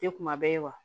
Tɛ kuma bɛɛ ye wa